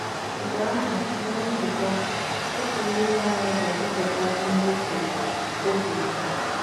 Mgbe ahụ, ná nzukọ, otu n’ime anyị ga - agụpụta ihe o kwuru o kwuru.